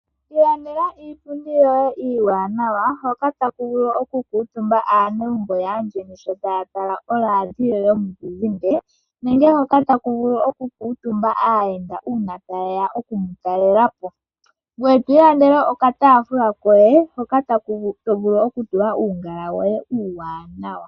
Lilandela iipundi yoye iiwaanawa hoka taku vulu okukuutumba aanegumbo yaandjeni sho taya tala oladio yomuzizimbe. Nenge hoka taku vulu oku kuutumba aayenda uuna tayeya okumu talelapo . Ngoye twii landele oka taafula koye hoka to vulu okutula uungala woye uuwaananawa.